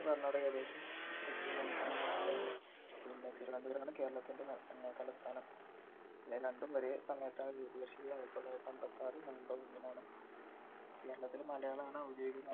കർണാടക തെക്കൻ സംസ്ഥാനം ആണ് പിന്നെ തിരുവനന്തപുരമാണ് കേരളത്തിൻ്റെ ന ഏർ തലസ്ഥാനം ഇത് രണ്ടും ഒരെ സമയത്താണ് രൂപീകരിച്ചിട്ടുള്ളത് ആയിരത്തിത്തൊള്ളായിരത്തിഅമ്പത്തിആറ് november ഒന്നിനാണ് കേരളത്തിൽ മലയാളാണ് ഔദ്യോഗിഗ